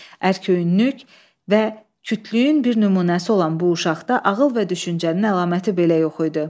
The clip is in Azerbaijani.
Ərköyünlük və kütlüyün bir nümunəsi olan bu uşaqda ağıl və düşüncənin əlaməti belə yox idi.